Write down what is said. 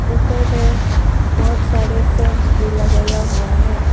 ऊपर में बहोत सारे फैंस भी लगाया हुआ है।